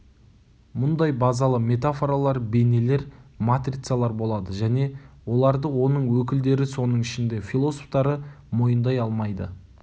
мұндай базалы метафоралар бейнелер матрицалар болады және оларды оның өкілдері соның ішінде философтары мойындай алмайды